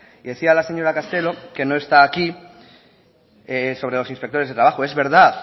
decía la señora castelo que no está aquí sobre los inspectores de trabajo es verdad